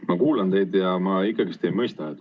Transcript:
Ma kuulan teid ja ma ei mõista.